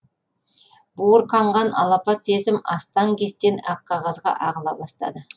буырқанған алапат сезім астаң кестең ақ қағазға ағыла бастады